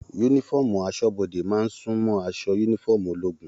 Yúnífọ̀ọ́mù asọ́bọdè máa n sunmọ aṣọ yúnífọ̀ọ́mù ológun.